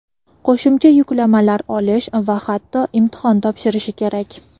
qo‘shimcha yuklamalar olish va hatto imtihon topshirishi kerak.